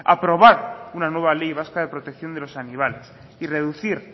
aprobar una nueva ley vasca de protección de los animales y reducir